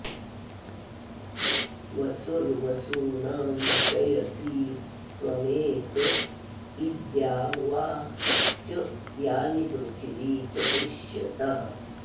वसुर्वसूनां क्षयसि त्वमेक इद्द्यावा च यानि पृथिवी च पुष्यतः